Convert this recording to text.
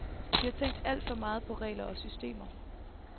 Vi har tænkt alt for meget på regler og systemer.